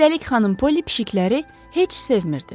Üstəlik xanım Polli pişiklər heç sevmir.